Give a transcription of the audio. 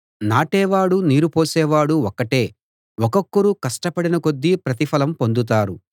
నాటే వాడూ నీరు పోసేవాడూ ఒక్కటే ఒక్కొక్కరు కష్టపడిన కొద్దీ ప్రతిఫలం పొందుతారు